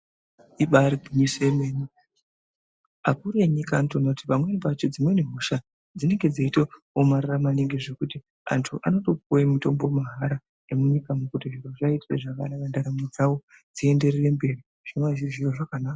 Ibaari gwinyiso yemene akuru enyika anotoone kuti dzimweni hosha dzinenge dzeitoomarara maningi zvekuti antu anotopuwe mitombo mahara emunyika ngekuti zvivaitire zvakanaka mwiiri dzavo dzienderere mberi zvinova zviri zviro zvakanaka.